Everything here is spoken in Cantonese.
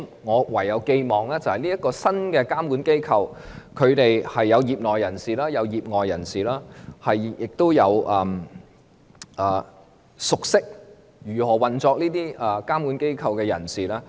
我唯有寄望這個新的監管機構，當中有業內人士、業外人士，也有熟悉如何運作這些監管機構的人士。